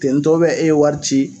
Tentɔ ubiyɛn e ye wari ci